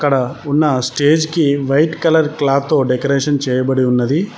ఇక్కడ ఉన్న స్టేజ్ కి వైట్ కలర్ క్లాత్ డెకరేషన్ చేయబడి ఉన్నది.